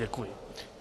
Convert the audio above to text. Děkuji.